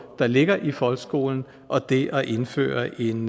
der ligger i folkeskolen og det at indføre en